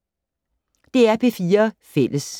DR P4 Fælles